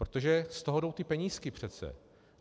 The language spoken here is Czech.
Protože z toho jdou ty penízky přece.